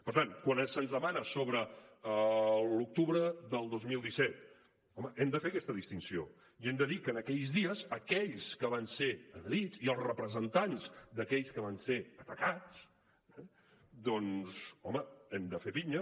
per tant quan se’ns demana sobre l’octubre del dos mil disset home hem de fer aquesta distinció i hem de dir que en aquells dies aquells que van ser agredits i els representants d’aquells que van ser atacats eh doncs home hem de fer pinya